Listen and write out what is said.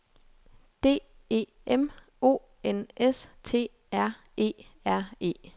D E M O N S T R E R E